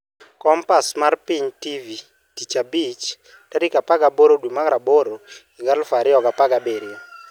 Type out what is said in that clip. Kompas mar Piny TV Tich Abich 18.08.2017